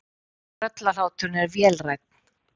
Tröllahláturinn er vélrænn.